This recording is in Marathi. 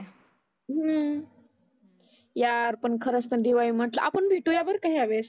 हम्म यार पण खरचं पण दिवाळी म्हटलं आपण भेटुया बरं का ह्या वेळेस.